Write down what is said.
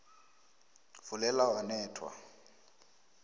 fulela wanethwa